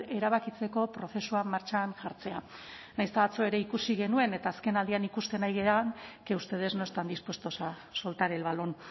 erabakitzeko prozesua martxan jartzea nahiz eta atzo ere ikusi genuen eta azken aldian ikusten ari garen que ustedes no están dispuestos a soltar el balón